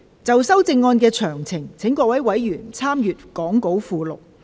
就修正案詳情，委員可參閱講稿附錄。